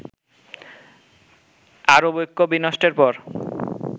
আরব ঐক্য বিনষ্টের পর